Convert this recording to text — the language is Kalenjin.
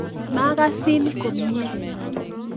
Makasin komnye